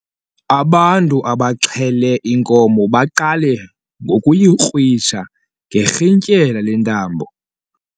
Ubantu abaxhele inkomo baqale ngokuyikrwitsha ngerhintyela lentambo.